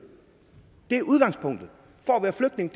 det er udgangspunktet for at være flygtning